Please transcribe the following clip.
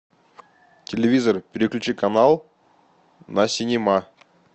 телевизор переключи канал на синема